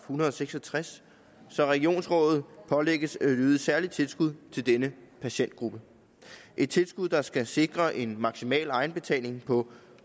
hundrede og seks og tres så regionsrådet pålægges at yde særligt tilskud til denne patientgruppe et tilskud der skal sikre en maksimal egenbetaling på